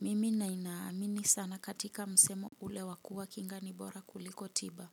Mimi ninaamini sana katika msemo ule wa kuea kinga ni bora kuliko tiba.